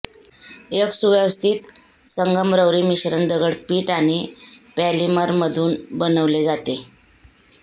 एक सुव्यवस्थित संगमरवरी मिश्रण दगड पिठ आणि पॉलिमरमधून बनविले जाते